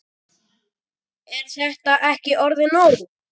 Er þetta ekki orðið nóg?